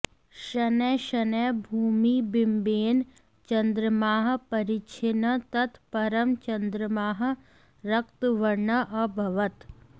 शनैः शनैः भूमिबिम्बेन चन्द्रमाः परिच्छिन्नः तत् परं चन्द्रमाः रक्तवर्णः अभवत्